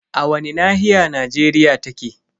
A wani nahiya Najeriya take?